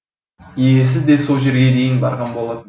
иесі де сол жерге дейін барған болатын